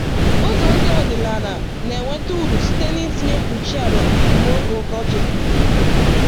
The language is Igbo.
Ụzọ ndị ọdịnala na-enweta uru site n’itinye mkpuchi ala mgbe oge ọkọchị dị.